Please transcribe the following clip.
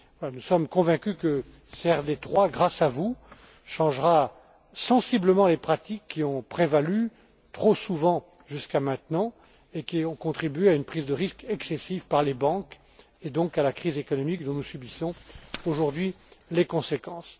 Nous sommes convaincus que CRD 3, grâce à vous, changera sensiblement les pratiques qui ont prévalu trop souvent jusqu'à maintenant, et qui ont contribué à une prise de risques excessive par les banques et donc mené à la crise économique dont nous subissons aujourd'hui les conséquences.